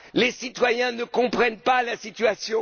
Les citoyens ne comprennent pas la situation.